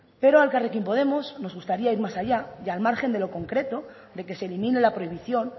pero a elkarrekin podemos nos gustaría ir más allá y al margen de lo concreto de que se elimine la prohibición